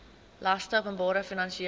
laste openbare finansiële